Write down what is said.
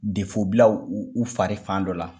bila u u fari fan dɔ la.